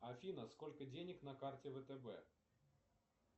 афина сколько денег на карте втб